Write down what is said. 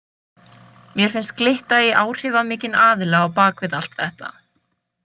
Mér finnst glytta í áhrifamikinn aðila á bak við allt þetta.